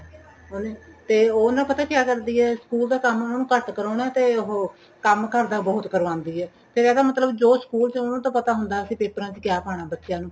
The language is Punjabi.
ਉਹਨੇ ਤੇ ਉਹ ਨਾ ਪਤਾ ਕਿਆ ਕਰਦੀ ਏ school ਦਾ ਕੰਮ ਉਹਨਾ ਨੂੰ ਘੱਟ ਕਰਾਉਣਾ ਤੇ ਉਹ ਕੰਮ ਘਰ ਦਾ ਬਹੁਤ ਕਰਵਾਉਂਦੀ ਏ ਫੇਰ ਇਹਦਾ ਮਤਲਬ ਜੋ school ਚ ਉਹਨਾ ਨੂੰ ਤਾਂ ਪਤਾ ਹੁੰਦਾ ਪੇਪਰਾ ਚ ਕਿਆ ਪਾਣਾ ਬੱਚਿਆਂ ਨੂੰ